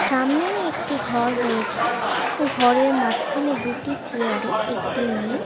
সামনেই একটি ঘর রয়েছে ঘরের মাঝখানে দুটি চেয়ারে একটি মেয়ে--